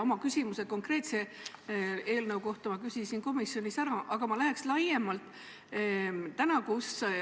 Oma küsimuse konkreetse eelnõu kohta küsisin ma komisjonis ära, aga ma küsin nüüd laiemalt.